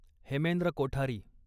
Hemendra Kothari